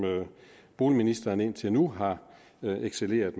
boligministeren indtil nu har excelleret